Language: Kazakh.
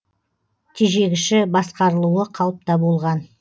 тежегіші басқарылуы қалыпта болған